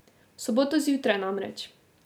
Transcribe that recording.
V soboto zjutraj, namreč.